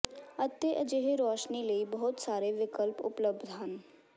ਅਤੇ ਅਜਿਹੇ ਰੋਸ਼ਨੀ ਲਈ ਬਹੁਤ ਸਾਰੇ ਵਿਕਲਪ ਉਪਲਬਧ ਹਨ